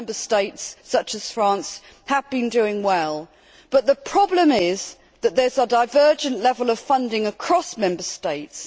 Some Member States, such as France, have been doing well, but the problem is that there is a divergent level of funding across Member States.